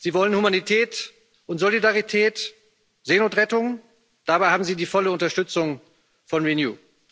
Sie wollen Humanität und Solidarität, Seenotrettung dabei haben Sie die volle Unterstützung von Renew.